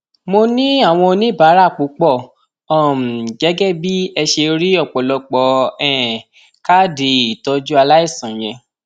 mo ní àwọn oníbàárà púpọ um gẹgẹ bí ẹ ṣe rí ọpọlọpọ um káàdì ìtọjú aláìsàn yẹn